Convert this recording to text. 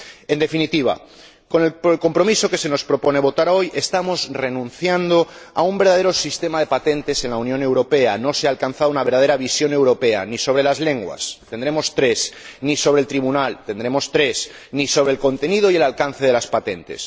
En definitiva, con el compromiso que se somete a votación hoy estamos renunciando a un verdadero sistema de patentes en la Unión Europea no se ha alcanzado una verdadera visión europea ni sobre las lenguas —tendremos tres—, ni sobre el tribunal —tendremos tres—, ni sobre el contenido y el alcance de las patentes.